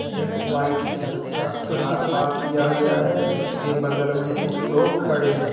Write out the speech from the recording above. एक white colour का car park किया गया है जिसके बगल में एक लोग खड़े हैं।